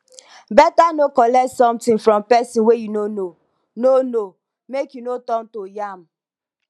beta no collect something from pesin wey you no know no know make you no turn to yam